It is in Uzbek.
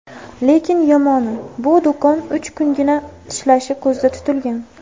Lekin yomoni, bu do‘kon uch kungina ishlashi ko‘zda tutilgan.